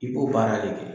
I b'o baara de kɛ